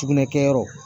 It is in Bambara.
Sugunɛ kɛyɔrɔ